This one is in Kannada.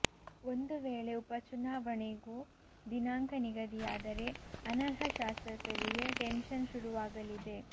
ಒಂದು ವೇಳೆ ಉಪ ಚುನಾವಣೆಗೂ ದಿನಾಂಕ ನಿಗದಿಯಾದರೇ ಅನರ್ಹ ಶಾಸಕರಿಗೆ ಟೆನ್ಶನ್ ಶುರುವಾಗಲಿದೆ